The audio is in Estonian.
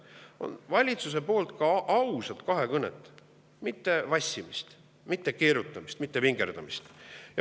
See on see, et valitsusega oleks aus kahekõne, et ei oleks vassimist, keerutamist, vingerdamist.